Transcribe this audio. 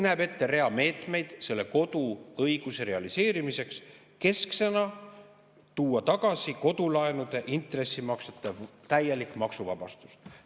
" Nähakse ette rida meetmeid selle koduõiguse realiseerimiseks, kesksena see, et tuua tagasi kodulaenude intressimaksete täielik maksuvabastus.